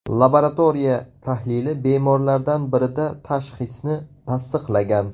Laboratoriya tahlili bemorlardan birida tashxisni tasdiqlagan.